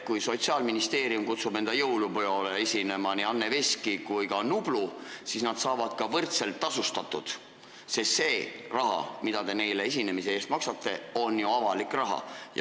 Kui Sotsiaalministeerium kutsub jõulupeole esinema nii Anne Veski kui ka Nublu, siis nad on ka võrdselt tasustatud, sest see raha, mida te neile esinemise eest maksate, on ju avalik raha.